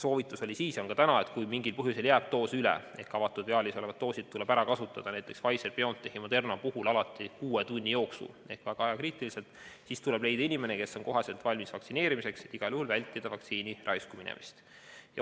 Soovitus oli siis ja on ka täna see, et kui mingil põhjusel jääb doos üle – avatud viaalis olevad doosid tuleb kiiresti ära kasutada, näiteks Pfizer/BioNTechi ja Moderna puhul kuue tunni jooksul, sest need on väga ajakriitilised –, siis tuleb leida inimene, kes on kohe valmis vaktsineerima tulema, et igal juhul vältida vaktsiini raisku minemist.